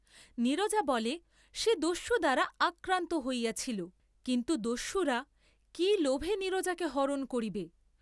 নীরজা বলে সে দস্যু দ্বারা আক্রান্ত হইয়াছিল, কিন্তু দস্যুরা কি লোভে নীরজাকে হরণ করিবে?